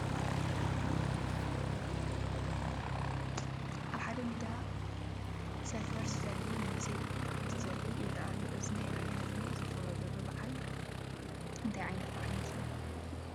ኣብ ሓደ ሜዳ ስፍሪ ዘፍሉ መንእሰይ ብሆታ እንትዘልል ይርአ ኣሎ፡፡ እዚ ናይ ራያ ህዝቢ ዘኽብሮ ዘሎ በዓል እንታይ ዓይነት በዓል ይመስለኩም?